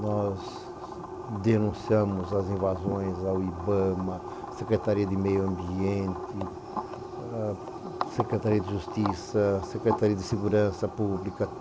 Nós denunciamos as invasões ao IBAMA, Secretaria de Meio Ambiente, Secretaria de Justiça, Secretaria de Segurança Pública.